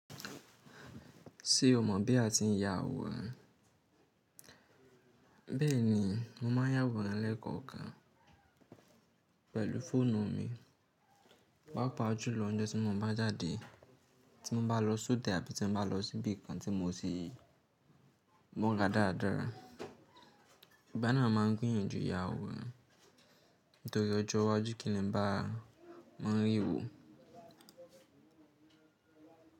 Ṣé o mọ̀ bí a ti ń ya àwòrán? Bẹ́ẹ̀ni, mo máa ń ya àwòrán lẹ́ẹ̀kọkan pẹ̀lú fóònù mi, pàápàá jùlọ ọjọ́ tí mo bá jáde, tí mo bá lọ sódò àbí tí mo bá lọ sí ibì kan tí mo ti murà dáradára. Ìgba náà mo ma ń gbiyanju ya àwòrán, nítorí ọjọ́ iwájú kí n le bá, máa rí i wò.